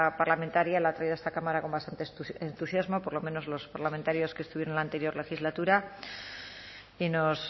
parlamentaria la ha traído a esta cámara con bastante entusiasmo por lo menos los parlamentarios que estuvieron en la anterior legislatura y nos